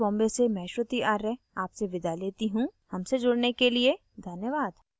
I I T Bombay से मैं श्रुति आर्य आपसे विदा लेती हूँ हमसे जुड़ने के लिए धन्यवाद